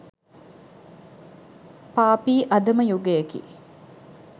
පාපී අධම යුගයකි.